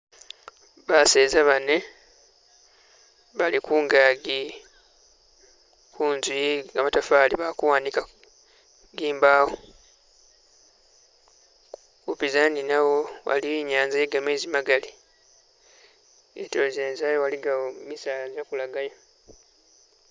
Baseza bane bali kungagi kunzu ye gamatafali bali kuwanikako zimbawo kupizana ninawo waliwo inyanza ye gameezi magali zitulo zene zayo waligayo misaala gyakulagayo.